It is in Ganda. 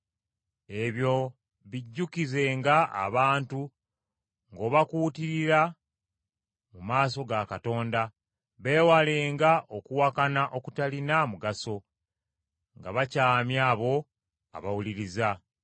Ebyo bijjukizenga abantu ng’obakuutirira mu maaso ga Katonda, beewalenga okuwakana okutalina mugaso, nga bakyamya abo abawuliriza.